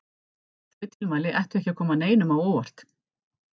Þau tilmæli ættu ekki að koma neinum á óvart.